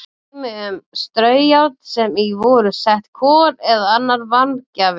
Dæmi um straujárn sem í voru sett kol eða annar varmagjafi.